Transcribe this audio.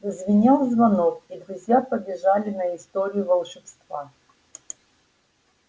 зазвенел звонок и друзья побежали на историю волшебства